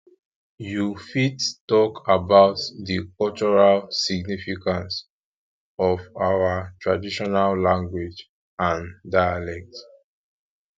you fit talk about di cultural significance of our traditional language and dialect